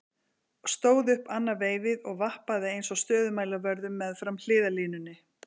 Stóð upp annað veifið og vappaði eins og stöðumælavörður meðfram hliðarlínunni.